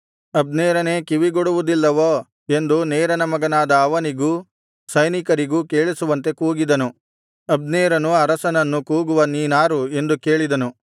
ಅಬ್ನೇರನೇ ಕಿವಿಗೊಡುವುದಿಲ್ಲವೋ ಎಂದು ನೇರನ ಮಗನಾದ ಅವನಿಗೂ ಸೈನಿಕರಿಗೂ ಕೇಳಿಸುವಂತೆ ಕೂಗಿದನು ಅಬ್ನೇರನು ಅರಸನನ್ನು ಕೂಗುವ ನೀನಾರು ಎಂದು ಕೇಳಿದನು